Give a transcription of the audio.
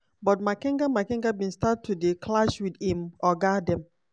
but makenga makenga bin start to dey clash wit im ogas dem.